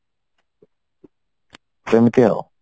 ସେମିତି ଆଉ